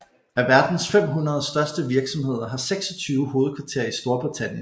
Af verdens 500 største virksomheder har 26 hovedkvarter i Storbritannien